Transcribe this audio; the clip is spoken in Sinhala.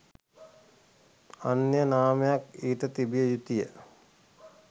අනන්‍ය නාමයක් ඊට තිබිය යුතුය